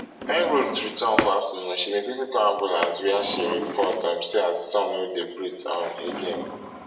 wen ruth return for afternoon she bin quickly call ambulance wia she report um say her son no dey breathe um again